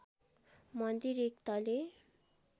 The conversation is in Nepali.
मन्दिर एक तले